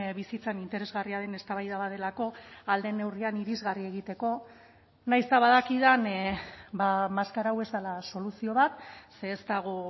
bizitzan interesgarria den eztabaida bat delako ahal den neurrian irisgarri egiteko nahiz eta badakidan maskara hau ez dela soluzio bat ze ez dago